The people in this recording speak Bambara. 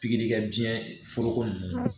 Pikiri kɛ biɲɛ foro nunnu na